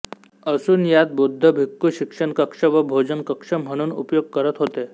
असून यात बौद्ध भिक्खू शिक्षण कक्ष व भोजन कक्ष म्हणून उपयोग करत होते